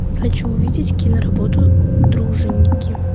хочу увидеть киноработу дружинники